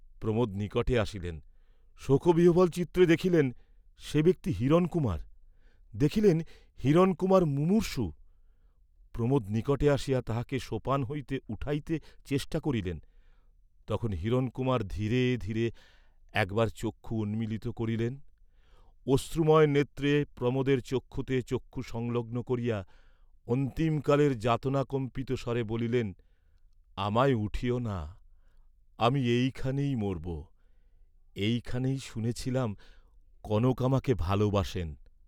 প্রমোদ নিকটে আসিলেন, শোকবিহ্বলচিত্তে দেখিলেন, সে ব্যক্তি হিরণকুমার। দেখিলেন হিরণকুমার মুমুর্ষু, প্রমোদ নিকটে আসিয়া তাহাকে সোপান হইতে উঠাইতে চেষ্টা করিলেন, তখন হিরণকুমার ধীরে ধীরে একবার চক্ষু উন্মীলিত করিলেন, অশ্রুময় নেত্রে প্রমোদের চক্ষুতে চক্ষু সংলগ্ন করিয়া অন্তিমকালের যাতনাকম্পিত স্বরে বলিলেন, "আমায় উঠিও না, আমি এইখানেই মরব, এইখানেই শুনেছিলাম, কনক আমাকে ভালবাসেন।"